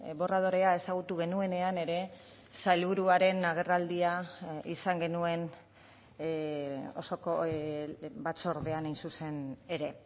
borradorea ezagutu genuenean ere sailburuaren agerraldia izan genuen osoko batzordean hain zuzen ere